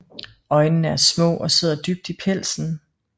Øjnene er små og sidder dybt i pelsen